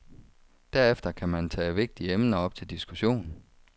Derefter kan man tage vigtige emner op til diskussion.